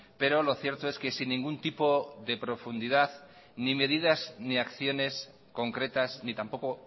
pero lo cierto es que sin ningún tipo de profundidad ni medidas ni acciones concretas ni tampoco